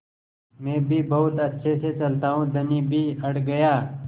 मैं भी बहुत अच्छे से चलता हूँ धनी भी अड़ गया